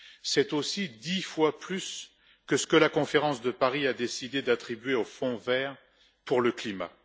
C'est aussi dix fois plus que ce que la conférence de Paris a décidé d'attribuer au Fonds vert pour le climat.